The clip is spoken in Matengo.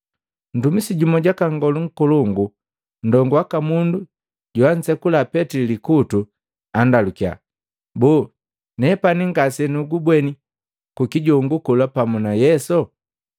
Ntumisi jumu jwaka Nngolu Nkolongu, ndongu waka mundu joansekula Petili likutu, andalukiya, “Boo, nepani ngasenugubweni kukijongu kola pamu na Yesu?”